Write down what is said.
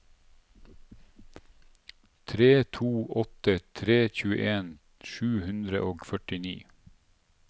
tre to åtte tre tjueen sju hundre og førtini